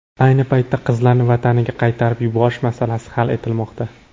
Ayni paytda qizlarni vataniga qaytarib yuborish masalasi hal etilmoqda.